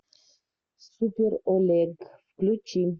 супер олег включи